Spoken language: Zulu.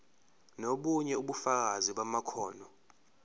nobunye ubufakazi bamakhono